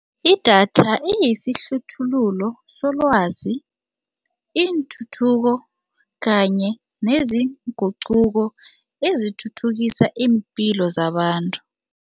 Idatha isihluthululo selwazi iintuthuko kanye nezinguquko ezithuthukisa iimpilo zabantu.